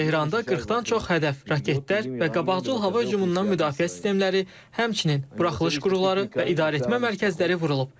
Tehranda 40-dan çox hədəf, raketlər və qabaqcıl hava hücumundan müdafiə sistemləri, həmçinin buraxılış qurğuları və idarəetmə mərkəzləri vurulub.